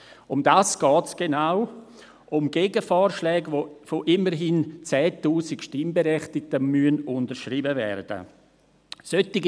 Genau darum geht es, um Gegenvorschläge, welche von immerhin 10 000 Stimmberechtigten unterschrieben werden müssen.